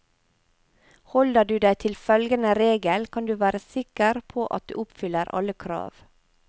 Holder du deg til følgende regel kan du være sikker på at du oppfyller alle krav.